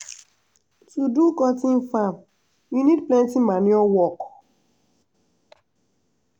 to do cotton farm u need plenty manual work.